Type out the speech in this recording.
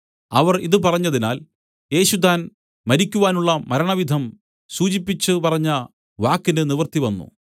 അവർ ഇതു പറഞ്ഞതിനാൽ യേശു താൻ മരിക്കുവാനുള്ള മരണവിധം സൂചിപ്പിച്ചു പറഞ്ഞ വാക്കിന് നിവൃത്തിവന്നു